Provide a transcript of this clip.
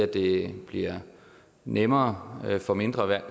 det bliver nemmere for mindre